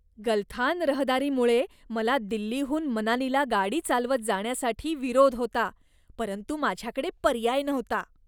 गलथान रहदारीमुळे मला दिल्लीहून मनालीला गाडी चालवत जाण्यासाठी विरोध होता, परंतु माझ्याकडे पर्याय नव्हता.